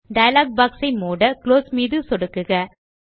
dialogue box ஐ மூட close மீது சொடுக்குக